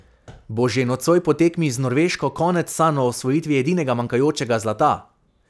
Bo že nocoj po tekmi z Norveško konec sanj o osvojitvi edinega manjkajočega zlata?